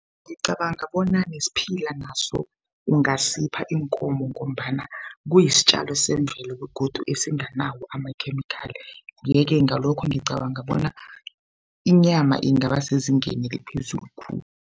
Ngicabanga bona nesiphila naso ungasipha iinkomo ngombana kuyisitjalo semvelo begodu esinganawo amakhemikhali yeke ngalokho ngicabanga bona inyama ingaba sezingeni eliphezulu khulu.